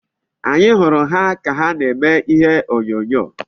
Anyị hụrụ ha ka na-eme ihe onyonyo.